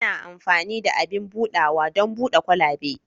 Ana amfani da abin buɗawa don buɗe kwalabe.